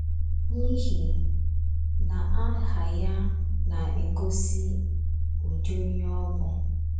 N’ihi na aha ya na - egosi ụdị onye ọ bụ.